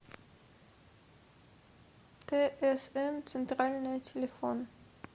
тсн центральное телефон